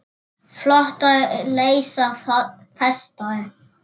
Flotar leysa festar.